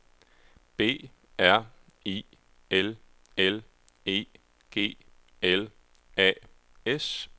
B R I L L E G L A S